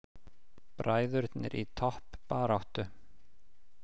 Bræðurnir í toppbaráttu